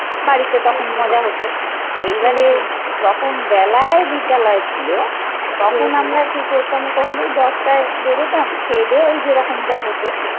বাড়িতে তখন মজা হতো এইবারে যখন বেলায় বিদ্যালয় ছিল তখন আমরা কি করতাম তখন তো ওই দশটায় বেরোতাম খেয়েদেয়ে ওই যেরকম যা হত